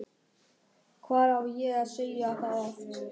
Hvað á ég að segja það oft?!